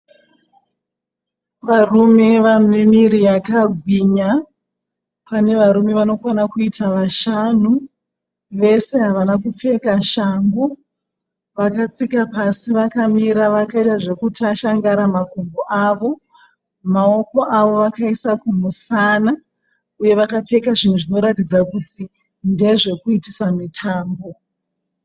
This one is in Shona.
Varume vane miviri yakagwinya. Pane varume vanokwana kuita vashanu. Vese havana kupfeka shangu. Vakatsika pasi vakamira vakaita zvekutashangara makumbo avo. Maoko avo vakaisa kumusana. Uye vakapfeka zvinhu zvinoratidza kuti ndezve kuitisa mitambo.